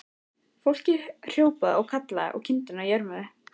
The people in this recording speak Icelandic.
Fólkið hrópaði og kallaði og kindurnar jörmuðu.